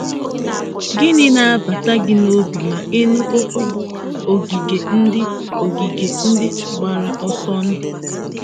Gịnị na-agbata gị n’obi ma ị nụ okwu bụ́ “ogige ndị “ogige ndị gbara ọsọ ndụ”?